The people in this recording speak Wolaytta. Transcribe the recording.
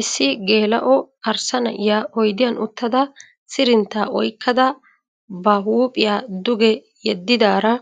Issi geela'o arssa na'iya oyidiyan uttada sirinttaa oyikkada ba huuphiyaa duge yeddidaara